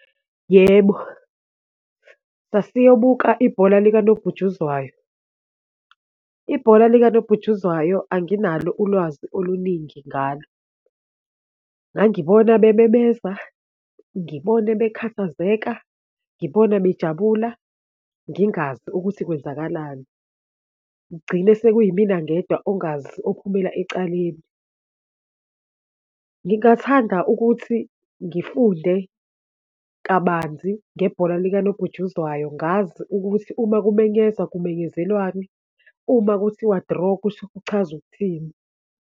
Yebo, sasiyobuka ibhola likanobhujuzwayo. Ibhola likanobhujuzwayo anginalo ulwazi oluningi ngalo. Ngangibona bememeza, ngibone bekhathazeka, ngibona bejabula, ngingazi ukuthi kwenzakalani, ngcine sekuyimina ngedwa ongazi ophumela ecaleni. Ngingathanda ukuthi ngifunde kabanzi ngebhola likanobhujuzwayo ngazi ukuthi uma kumenyezwa, kumenyezelwani, uma kuthiwa draw kusho kuchaza ukuthini.